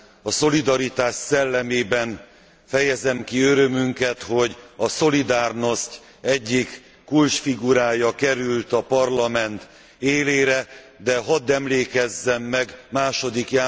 A szolidaritás szellemében fejezem ki örömünket, hogy a Solidarność egyik kulcsfigurája került a Parlament élére, de hadd emlékezzem meg II.